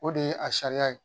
O de ye a sariya ye